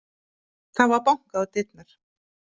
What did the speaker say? Það var bankað á dyrnar.